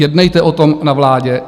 Jednejte o tom na vládě!